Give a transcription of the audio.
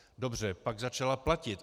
Dobře, pak začala platit.